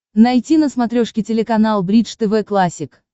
найти на смотрешке телеканал бридж тв классик